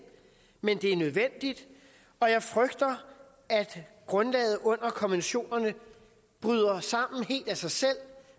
men det er nødvendigt og jeg frygter at grundlaget under konventionerne bryder sammen helt af sig selv